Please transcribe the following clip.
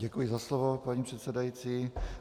Děkuji za slovo, paní předsedající.